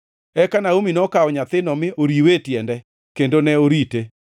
Eka Naomi nokawo nyathino mi noriwe e tiende, kendo ne orite.